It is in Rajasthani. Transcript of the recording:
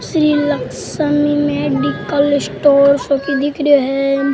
सिलेक्शन मेडिकल स्टोर सो की दिख रियो है।